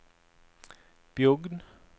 Bjugn